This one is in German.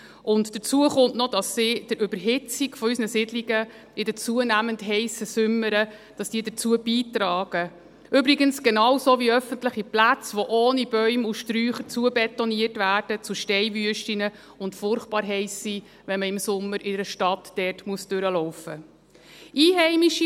Und dazu kommt noch, dass sie zur Überhitzung unserer Siedlungen in den zunehmend heissen Sommern beitragen – übrigens genauso wie öffentliche Plätze, die ohne Bäume und Sträucher zu Steinwüsten zubetoniert werden, und furchtbar heiss sind, wenn man im Sommer in der Stadt dort vorbeilaufen muss.